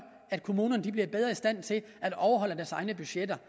at kommunerne bliver bedre i stand til at overholde deres egne budgetter